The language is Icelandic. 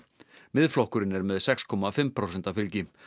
Miðflokkurinn er með sex komma fimm prósenta fylgi